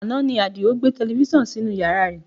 Àná ni Adio gbé tẹlifísàn sínú yàrá rẹ̀